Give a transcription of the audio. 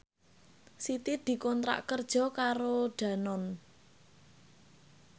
Siti dikontrak kerja karo Danone